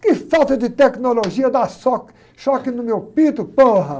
Que falta de tecnologia dá choque no meu.